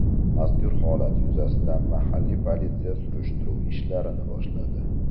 Mazkur holat yuzasidan mahalliy politsiya surishtiruv ishlarini boshladi.